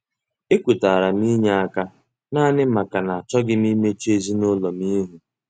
E kwetara m inye aka naanị maka na achọghị m imechu ezinụlọ m ihu.